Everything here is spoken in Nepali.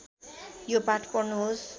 यो पाठ पढ्नुहोस्